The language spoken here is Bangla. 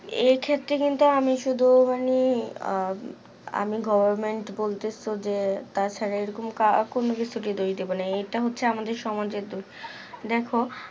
এই ক্ষেত্রে কিন্তু আমি শুধু মানে আহ আমি government বলতেছ যে তাছাড়া এইরকম কা কোনো কিছু যদি বলতে বলে এটা হচ্ছে আমাদের সমাজের দোষ দেখো